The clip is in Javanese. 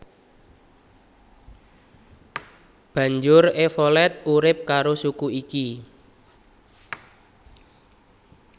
Banjur Evolet urip karo suku iki